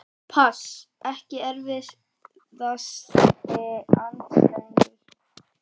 pass Ekki erfiðasti andstæðingur?